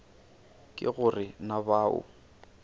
ke go re na bao